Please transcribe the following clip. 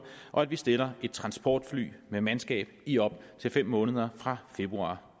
og at vi stiller et transportfly med mandskab i op til fem måneder fra februar